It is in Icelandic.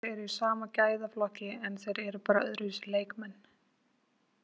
Þeir eru í sama gæðaflokki en þeir eru bara öðruvísi leikmenn,